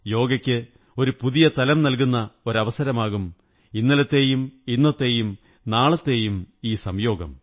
യോഗയ്ക്ക് ഒരു പുതിയ തലം നല്കുന്ന ഒരു അവസരമാകും ഇന്നലത്തെയും ഇന്നത്തെയും നാളെയുടെയും ഈ സംയോഗം